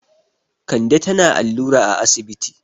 Kande tana allura a asibiti.